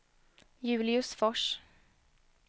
Julius Fors